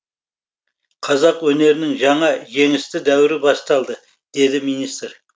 қазақ өнерінің жаңа жеңісті дәуірі басталды деді министр